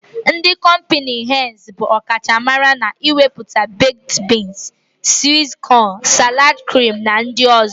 Ndị kọmpịnị henz bụ ọ kacha mara n'imepụta bekd biins, swit kọn, salad krim na ndị ọ̀zọ́.